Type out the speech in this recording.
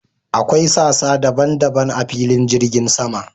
Akwai sassa daban daban a filin jirgin sama.